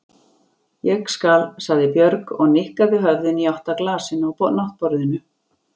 Ég skal, sagði Björg og nikkaði höfðinu í átt að glasinu á náttborðinu.